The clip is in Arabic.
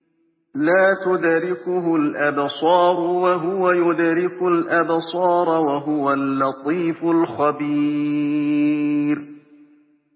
لَّا تُدْرِكُهُ الْأَبْصَارُ وَهُوَ يُدْرِكُ الْأَبْصَارَ ۖ وَهُوَ اللَّطِيفُ الْخَبِيرُ